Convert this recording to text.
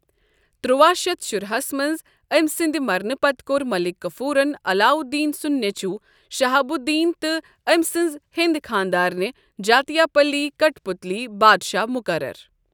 ترواہ شیتھ شُراہس منٛز أمۍ سٕنٛدِ مرنہٕ پتہٕ کوٚر ملک کافورَن علاؤ الدین سُنٛد نیٚچوٗ شہاب الدین تہٕ أمہِ سٕنٛز ہیٚنٛدۍ خانداریٚنۍ جاتِیا پلی کٹھ پتلی بادشاہ مقرر۔